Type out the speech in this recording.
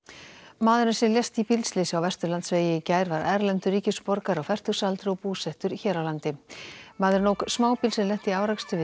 maðurinn sem lést í bílslysi á Vesturlandsvegi í gær var erlendur ríkisborgari á fertugsaldri og búsettur hér á landi maðurinn ók smábíl sem lenti í árekstri við